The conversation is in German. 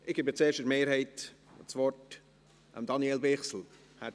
Ich erteile zuerst für die Mehrheit Daniel Bichsel das Wort.